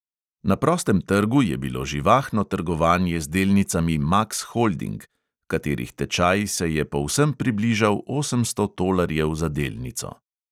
Na prostem trgu je bilo živahno trgovanje z delnicami maks holding, katerih tečaj se je povsem približal osemsto tolarjev za delnico.